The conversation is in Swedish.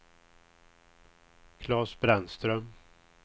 Claes Brännström